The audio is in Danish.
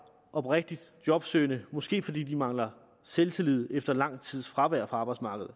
oprigtigt jobsøgende måske fordi de mangler selvtillid efter lang tids fravær fra arbejdsmarkedet